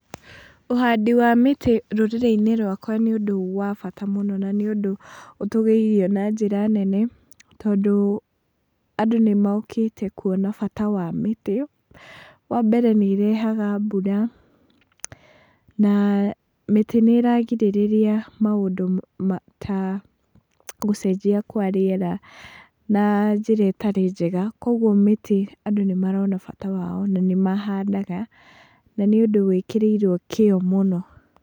Ũhandi wa mĩtĩ rũrĩrĩ-inĩ rwakwa nĩ ũndũ wa bata mũno na nĩũndũ ũtũgĩirio na njĩra nene, tondũ andũ nĩmokĩte kuona bata wa mĩtĩ, wa mbere nĩ ĩrehaga mbura, na mĩtĩ nĩĩragirĩrĩria maũndũ ta gũcenjia kwa rĩera na njĩra ĩtarĩ njega, koguo mĩtĩ andũ nĩ marona bata wayo na nĩmahandaga na nĩ ũndũ wĩkĩrĩirwo kiyo mũno.